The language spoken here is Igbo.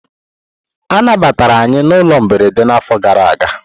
A nabatara anyị na ụlọ mberede n'afọ gara aga.